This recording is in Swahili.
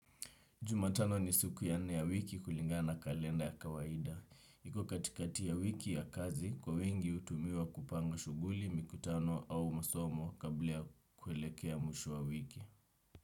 Juma tano ni siku ya nne ya wiki kulingana kalenda ya kawaida. Iko katikati ya wiki ya kazi kwa wengi hutumiwa kupanga shughuli mikutano au masomo kabla kuelekea mwisho wa wiki.